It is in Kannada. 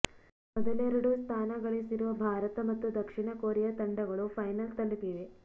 ಮೊದಲೆರಡು ಸ್ಥಾನ ಗಳಿಸಿರುವ ಭಾರತ ಮತ್ತು ದಕ್ಷಿಣ ಕೊರಿಯಾ ತಂಡಗಳು ಫೈನಲ್ ತಲುಪಿವೆ